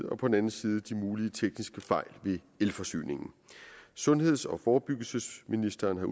og på den anden side de mulige tekniske fejl ved elforsyningen sundheds og forebyggelsesministeren har